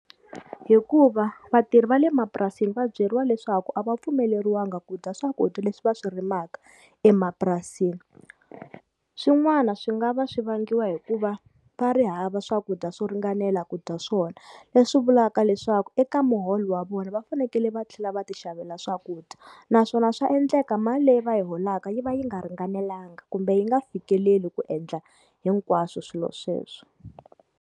Hikuva vatirhi va le mapurasini va byeriwa leswaku a va pfumeleriwanga ku dya swakudya leswi va swi rimaka emapurasini,. Swin'wana swi nga va swi vangiwa hi ku va va ri hava swakudya swo ringanela ku dya swona leswi vulaka leswaku eka muholo wa vona va fanekele va tlhela va ti xavela swakudya, naswona swa endleka mali leyi va yi holaka yi va yi nga ringanelangi kumbe yi nga fikeleli ku endla hinkwaswo swilo sweswo.